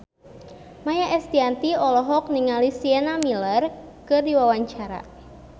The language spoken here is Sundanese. Maia Estianty olohok ningali Sienna Miller keur diwawancara